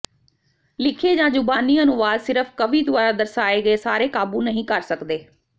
ਲਿਖੇ ਜਾਂ ਜ਼ੁਬਾਨੀ ਅਨੁਵਾਦ ਸਿਰਫ਼ ਕਵੀ ਦੁਆਰਾ ਦਰਸਾਏ ਗਏ ਸਾਰੇ ਕਾਬੂ ਨਹੀਂ ਕਰ ਸਕਦੇ